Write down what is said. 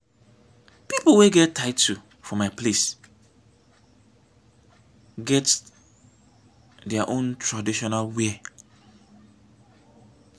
pipo wey get title for my place get their own traditional wear.